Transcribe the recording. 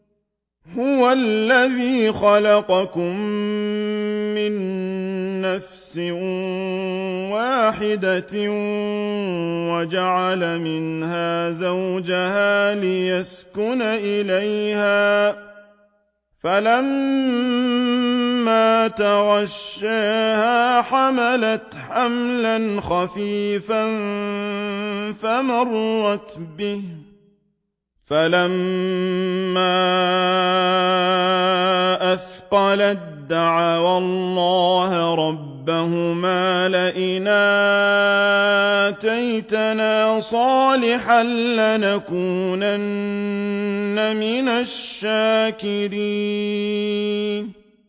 ۞ هُوَ الَّذِي خَلَقَكُم مِّن نَّفْسٍ وَاحِدَةٍ وَجَعَلَ مِنْهَا زَوْجَهَا لِيَسْكُنَ إِلَيْهَا ۖ فَلَمَّا تَغَشَّاهَا حَمَلَتْ حَمْلًا خَفِيفًا فَمَرَّتْ بِهِ ۖ فَلَمَّا أَثْقَلَت دَّعَوَا اللَّهَ رَبَّهُمَا لَئِنْ آتَيْتَنَا صَالِحًا لَّنَكُونَنَّ مِنَ الشَّاكِرِينَ